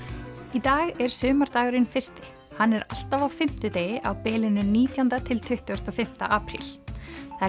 í dag er sumardagurinn fyrsti hann er alltaf á fimmtudegi á bilinu nítjándi til tuttugasta og fimmta apríl það er